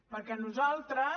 perquè nosaltres